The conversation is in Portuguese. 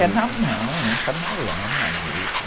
É na mão, entra na lama mesmo.